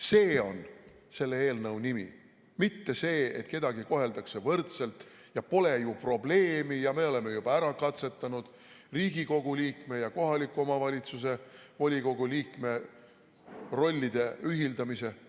See on selle eelnõu nimi, mitte see, et kedagi koheldakse võrdselt ja pole ju probleemi ja me oleme juba ära katsetanud Riigikogu liikme ja kohaliku omavalitsuse volikogu liikme rollide ühitamise.